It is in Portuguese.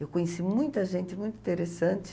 Eu conheci muita gente, muito interessante.